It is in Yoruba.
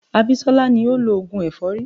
Abisola ni ó ń lọ oògùn èfọ́rí.